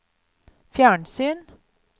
fjernsyn